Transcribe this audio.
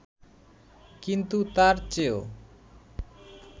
কিন্তু তার চেয়েও